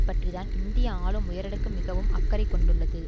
பற்றி தான் இந்திய ஆளும் உயரடுக்கு மிகவும் அக்கறை கொண்டுள்ளது